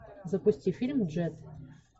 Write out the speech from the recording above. запусти фильм джет